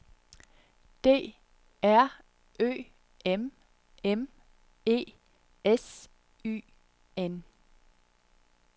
D R Ø M M E S Y N